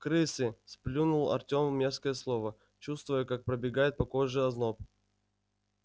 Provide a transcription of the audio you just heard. крысы сплюнул артём мерзкое слово чувствуя как пробегает по коже озноб